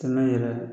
Kɛmɛ yɛrɛ